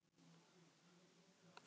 sagði Örn og brosti.